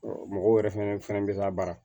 mɔgɔw yɛrɛ fɛnɛ bɛ labaara